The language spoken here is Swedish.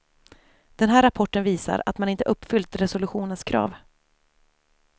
Den här rapporten visar att man inte uppfyllt resolutionens krav.